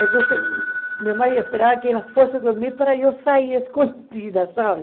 Então, minha mãe esperava que ela fosse dormir para eu sair escondida, sabe?